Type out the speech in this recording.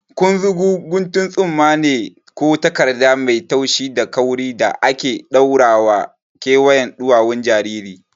Kunzugu guntun tsumma ne ko takarda mai taushi da kauri da ake ɗaurawa a kewayen ɗuwawun jariri.